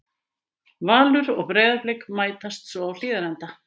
Valur og Breiðablik mætast svo á Hlíðarenda.